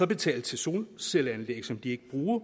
betale til solcelleanlæg som de ikke bruger